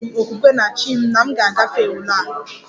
Enwere m okwukwe na 'chi' m na m ga-agafe ule m